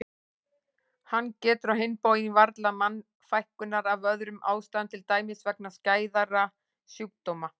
Hann getur á hinn bóginn varla mannfækkunar af öðrum ástæðum til dæmis vegna skæðra sjúkdóma.